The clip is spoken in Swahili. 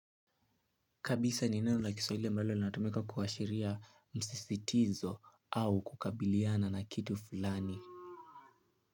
Kabisa ni neno la kiswahili ambalo linatumika kuashiria msisitizo au kukabiliana na kitu fulani.